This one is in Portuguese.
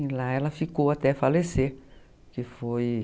E lá ela ficou até falecer, que foi...